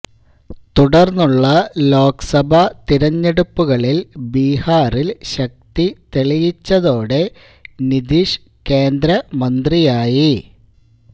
തുടര്ന്നുള്ള ലോക് സഭ തിരഞ്ഞെടുപ്പുകളില് ബിഹാറില് ശക്തിതെളിയിച്ചതോടെ നിതീഷ് കേന്ദ്ര മന്ത്രിയായി